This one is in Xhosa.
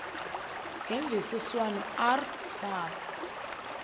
ngemvisiswano r kwabo